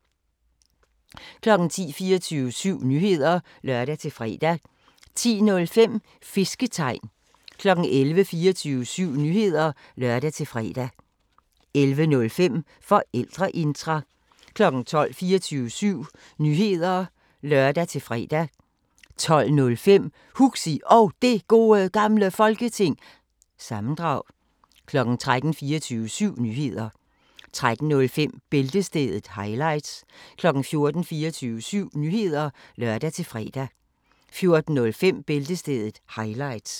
10:00: 24syv Nyheder (lør-fre) 10:05: Fisketegn 11:00: 24syv Nyheder (lør-fre) 11:05: Forældreintra 12:00: 24syv Nyheder (lør-fre) 12:05: Huxi Og Det Gode Gamle Folketing- sammendrag 13:00: 24syv Nyheder (lør-fre) 13:05: Bæltestedet – highlights 14:00: 24syv Nyheder (lør-fre) 14:05: Bæltestedet – highlights